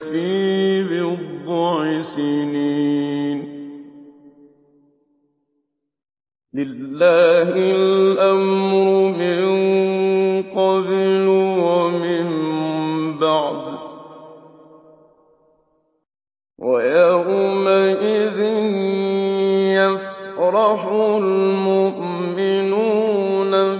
فِي بِضْعِ سِنِينَ ۗ لِلَّهِ الْأَمْرُ مِن قَبْلُ وَمِن بَعْدُ ۚ وَيَوْمَئِذٍ يَفْرَحُ الْمُؤْمِنُونَ